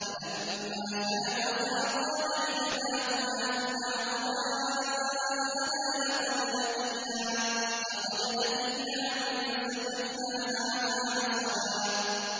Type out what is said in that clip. فَلَمَّا جَاوَزَا قَالَ لِفَتَاهُ آتِنَا غَدَاءَنَا لَقَدْ لَقِينَا مِن سَفَرِنَا هَٰذَا نَصَبًا